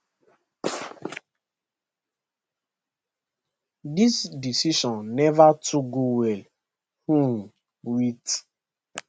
dis decision neva too go well um wit